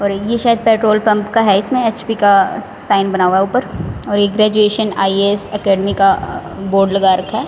और ये शायद पेट्रोल पंप का है इसमें एच_पी का साइन बना हुआ है ऊपर और एक graduation IAS academy uh uh अ बोर्ड लगा रखा है।